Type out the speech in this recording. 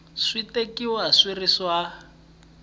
swi tekiwa swi ri swa